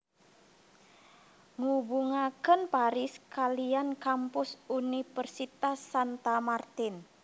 Ngubungaken Paris kaliyan kampus universitas Santa Martin